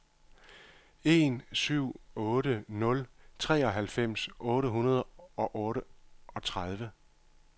en syv otte nul treoghalvfems otte hundrede og otteogtredive